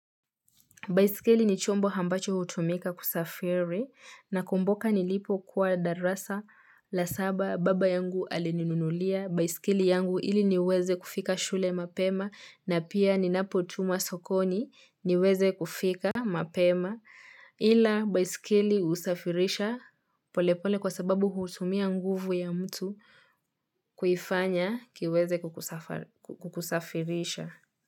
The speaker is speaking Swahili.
Baiskeli ni chombo ambacho hutumika kusafiri nakumbuka nilipokuwa darasa la saba baba yangu alininunulia. Baiskeli yangu ili niweze kufika shule mapema na pia ninapotumwa sokoni niweze kufika mapema. Ila baiskeli husafirisha polepole kwa sababu hutumia nguvu ya mtu kuifanya kiweze kukusafirisha.